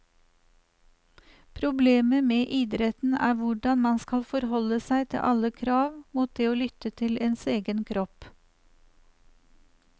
Problemet med idretten er hvordan man skal forholde seg til alle krav mot det å lytte til ens egen kropp.